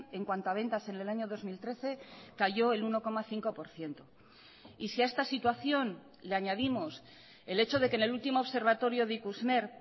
en cuanto a ventas en el año dos mil trece cayó el uno coma cinco por ciento y si a esta situación le añadimos el hecho de que en el último observatorio de ikusmer